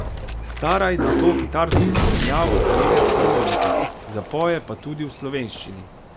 Staraj nato kitarsko spremljavo zamenja s harmoniko, zapoje pa tudi v slovenščini.